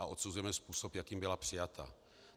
A odsuzujeme způsob, jakým byla přijata.